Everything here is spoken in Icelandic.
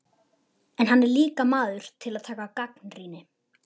En hann er líka maður til að taka gagnrýni.